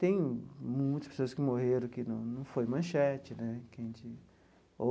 Tem muitas pessoas que morreram que não não foi manchete né que a gente.